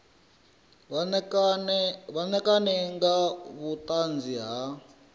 vha ṋekane nga vhuṱanzi ha